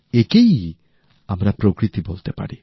একই আমরা প্রকৃতি বলতে পারি